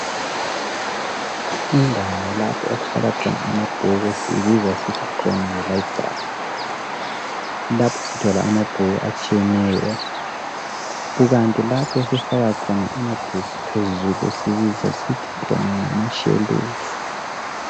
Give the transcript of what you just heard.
Indawo lapho okuhlala khona amabhuku siyibiza sithi khona yilibrary. Lapho sithola amabhuku atshiyeneyo kukanti lapho esifaka khona amabhuku phezulu siyibiza sisithi khona ngamashelufu.